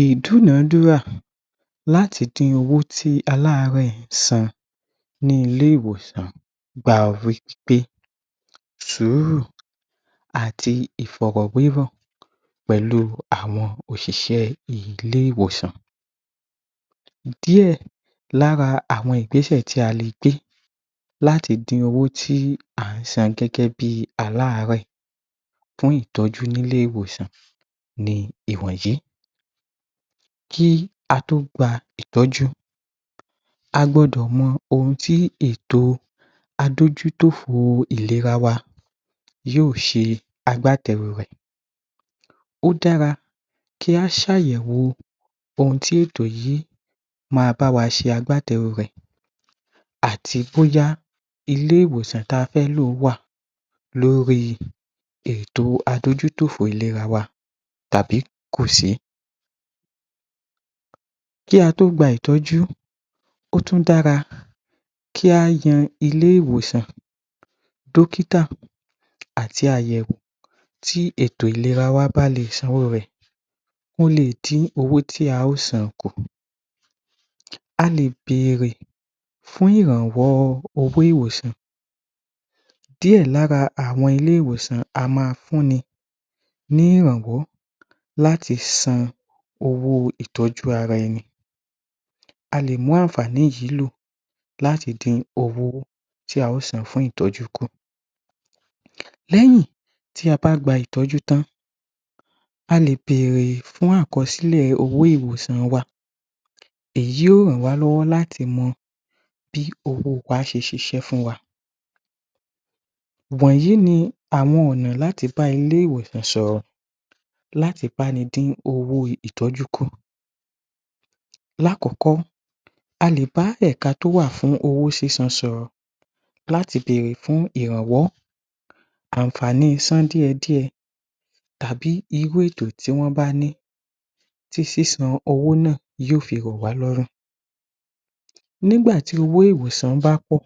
Ìdúnadúrà láti di owó tí aláàárẹ̀ san ni ilé-ìwòsàn gba wí pé sùúrù àti Ìfọ̀rọ̀wé ọ̀rọ̀ pẹ̀lú àwọn òṣìṣẹ́ ilé-ìwòsàn díè lára àwọn Ìgbésẹ̀ tí a lè gbé láti dí owó tí a ń san gẹ́gẹ́ bí aláàárẹ̀ fún ìtọ́jú ní ilé-ìwòsàn ni iwọ̀nyìí kí a tó gba ìtọ́jú a gbọ́dọ̀ mọ ohun tí ètò adójútòfo ìléra wa yóò ṣe agbátẹ̀ẹrù rẹ̀ ó dára kí a ṣe àyẹ̀wò ohun tí ètò yìí ma bá wa ṣe agbátẹ̀ẹrù rẹ̀ àti bóyá ilé-ìwòsàn tí a fẹ́ lò wà Lórí ètò adójútòfo ìléra wa tàbí kò sí kí a tó gba ìtọ́jú ó tun dára kí a yan ilé-ìwòsàn dókítà àti àyẹ̀wò ti ètò ìléra wa balẹ̀ sanwó rẹ̀ ó lè dín owó tí a ó san kù a lè bẹ̀ẹ̀rẹ̀ fún ìrànwọ́ owó ìwòsàn díè lára àwọn ilé-ìwòsàn á ma fún ni ní ìràwọ́ láti san owó ìtọ́jú ara ẹni a lè mú àǹfààní yìí ló láti din owó tí a ó san fún ìtọ́jú kùn lẹ́yìn tí a bá gba ìtọ́jú tán a lè bẹ̀ẹ̀rẹ̀ fún àkọsílẹ̀ owó ìwòsàn wa èyí yóò ràn wá lọ́wọ́ láti mọ bí owó wa ṣe ṣiṣẹ́ fún wa wọ̀nyìí ni àwọn ọ̀nà láti bá ilé-ìwòsàn sọ̀rọ̀ láti bá ni dín owó ìtọ́jú kùn láàkọ́kọ́ a lè bá ẹ̀ka tí ó wà fún owó sísan sọ̀rọ̀ láti bèèrè fún ìrànwọ́ àǹfààní sán díẹ̀ díẹ̀ tàbí irú ètò tí wọ́n bá ní tí sísan owó náà yóò fi rọ̀ wà lọ́rùn nígbà tí owó ìwòsàn bá pọ̀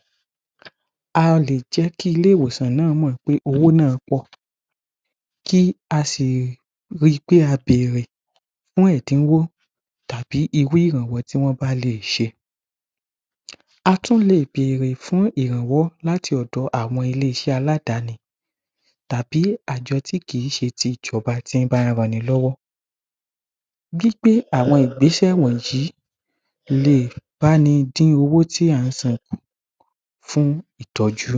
a lè jẹ́ kí ilé-ìwòsàn náà mọ̀ pé owó náà pọ̀ kí a sì ri pé a bèrè fún ìdíwọ́ tàbí irú ìrànwọ́ tí wọ́n bá lè ṣe a tún lè bèrè fún ìrànwọ́ láti ọ̀dọ̀ àwọn ilé-iṣẹ́ aláàdáni tàbí ààjọ tí kì í ṣe ti ìjọ́ba tí bá ń rọ ẹni lọ́wọ́ gbígbé àwọn Ìgbésẹ̀ wọ̀nyìí lè báni dín owó tí à ń san kù fún ìtọ́jú